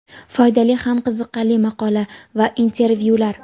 Foydali ham qiziqarli maqola va intervyular.